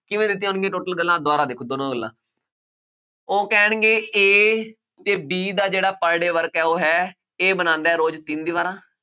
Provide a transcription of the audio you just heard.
ਕਿਵੇਂ ਦਿੱਤੀਆਂ ਹੋਣਗੀਆਂ total ਗੱਲਾਂ, ਦੁਬਾਰਾ ਦੇਖੋ, ਦੋਨੋ ਗੱਲਾਂ ਉਹ ਕਹਿਣਗੇ A ਅਤੇ B ਦਾ ਜਿਹੜਾ per day work ਹੈ, ਉਹ ਹੈ, A ਬਣਾਉਦਾ ਰੋਜ਼ ਤਿੰਨ ਦੀ ਬਾਰਾਂ